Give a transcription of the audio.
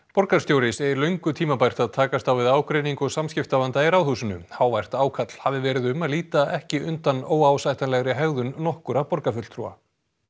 borgarstjóri segir löngu tímabært að takast á við ágreining og samskiptavanda í Ráðhúsinu hávært ákall hafi verið um að líta ekki undan óásættanlegri hegðun nokkurra borgarfulltrúa